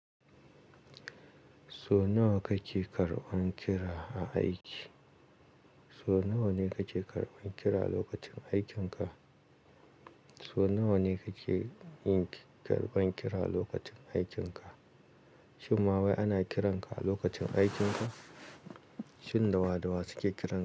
So nawa kake karɓan kira a aiki? So nawa ne kake karɓan kira lokacin aikinka? So nawa ne kake yin karɓan kira lokacin aikinka? Shim ma wai ana kiranka a lokacin aikinka? Shin dawa dawa suke kiranka.